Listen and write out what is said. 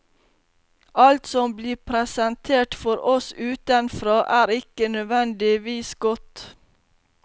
Alt som blir presentert for oss utenfra, er ikke nødvendigvis godt.